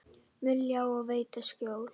mun ljá og veita skjól.